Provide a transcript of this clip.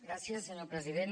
gràcies senyor president